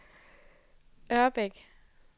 Ørbæk